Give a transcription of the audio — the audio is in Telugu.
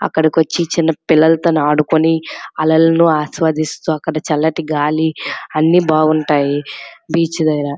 అక్కడికి వచ్చి చిన్న పిల్లలతో ఆడుకుని అలలను ఆస్వాదిస్తు అక్కడ చల్లటి గాలీ అన్ని బాగుంటాయి బీచ్ దెగర --